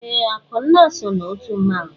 Ee, Akụnna so n'otu mmanwụ.